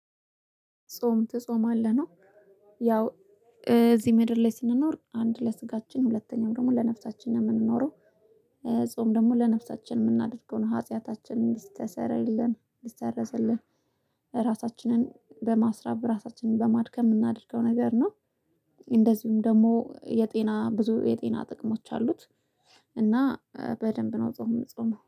ጾም ትጾምአለህ ነው? ያው እዚህ ምድር ላይ ስንኖር አንድ ለስጋችን ሁለተኛው ደግሞ ለነፍሳችን ነው የምንኖረው። ጾም ደግሞ ለነፍሳችን የምናደርገውን ሀጢያታችንን እንዲስተሰረይልን እንዲሰረዝልን ራሳችንን በማስረብ ራሳችንን በማድከም የምናደርገው ነገር ነው። እንደዚሁም ደግሞ የጤና ብዙ የጤና ጥቅሞች አሉት። እና በደንብ ነው ጾም እምጾመው